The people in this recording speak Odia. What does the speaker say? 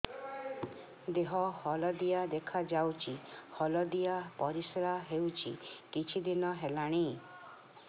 ଦେହ ହଳଦିଆ ଦେଖାଯାଉଛି ହଳଦିଆ ପରିଶ୍ରା ହେଉଛି କିଛିଦିନ ହେଲାଣି